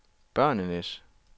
børnenes